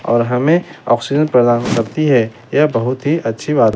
और हमें ऑक्सीजन प्रदान करती है यह बहुत ही अच्छी बात--